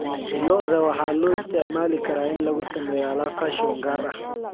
Lo'da waxaa loo isticmaali karaa in lagu sameeyo alaab fashion gaar ah.